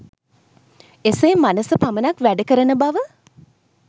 එසේ මනස පමණක් වැඩ කරන බව